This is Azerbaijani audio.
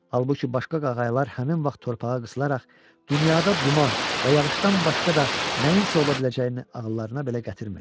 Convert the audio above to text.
Halbuki başqa qağaylar həmin vaxt torpağa qısılaraq dünyada duman və yağışdan başqa da nəyinsə ola biləcəyini ağıllarına belə gətirmirdilər.